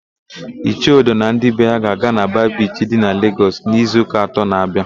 Ichie Odo na ndị be ya ga-aga na Ba Bichi dị na Legọs n'izuụka atọ na-abịa.